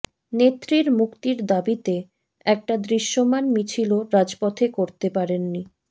নেত্রীর মুক্তির দাবিতে একটা দৃশ্যমান মিছিলও রাজপথে করতে পারেননি